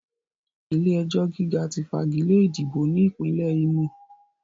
Ilé-ẹjọ̀ gíga ti fagilé ìdìbò ní Ìpínlẹ̀ Ímò